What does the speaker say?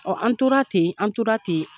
an tora ten, an tora ten